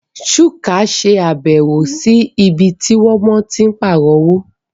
Chuka ṣàbẹ̀wò sí ibi tí wọ́n ti ń pààrọ̀ owó